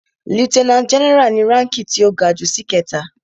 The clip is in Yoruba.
Lieutenant general ni ránki tí ó ga jù ṣìkẹta.